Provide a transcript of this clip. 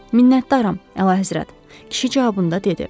Minntdaram, Əlahəzrət, kişi cavabında dedi.